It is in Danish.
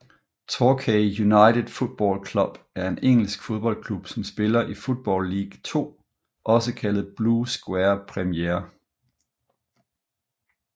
Torquay United Football Club er en engelsk fodboldklub som spiller i Football League Two også kaldet Blue Square Premier